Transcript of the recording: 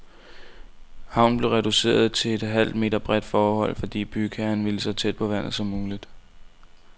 Havnen bliver reduceret til et halvt meter bredt fortov, fordi bygherren vil så tæt på vandet som muligt.